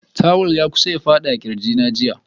Tuwul ya kusa ya fadi daga kirginta a jiya.